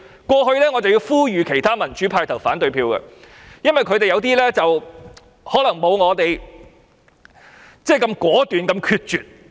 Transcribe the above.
我曾呼籲其他民主派議員投反對票，因為他們可能不如我那般果斷及決絕。